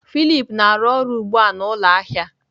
Philip na-arụ ọrụ ugbu a n'ụlọ ahịa.